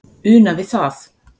una við það